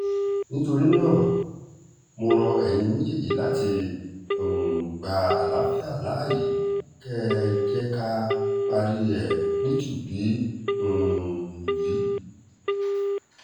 nítorí náà mo rọ ẹ̀yin méjèèjì láti um gba àlàáfíà láàyè kẹ́ ẹ jẹ́ ká parí ẹ̀ nítùbí um ìnùbí